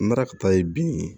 N taara ka taa ye bin ye